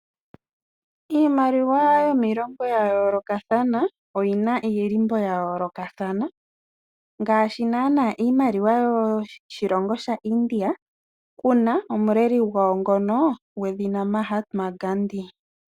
Iimaliwa yomiilongo ya yoolokathana oyi na omadhindhiliko ga yoolokathana ngaashi nana iimaliwa yoshilongo shaIndia ku na omuleli gwawo ngoka gwedhina Mahatma Gandhi.